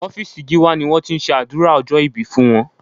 Ọ́fíìsì Gíwá ni wọ́n ti ṣe àdúrà ọjọ́ ìbí fún wọn